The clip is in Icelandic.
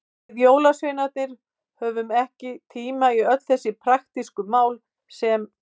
Við jólasveinarnir höfum ekki tíma í öll þessi praktísku mál sem.